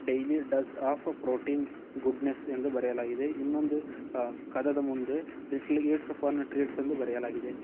Daily dose of protein good night ಇಂದು ಬರೆಯಲಾಗಿದೆ ಇನ್ನೊಂದು ಕದದ ಮುಂದೆ ಲಿಟಲ್ ಇಟ್ಸ್ ಎಂದು ಬರೆಯಲಾಗಿದೆ.